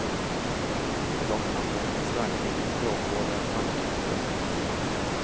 Det är dock anmärkningsvärt att ingen språkvårdare av facket berört detta.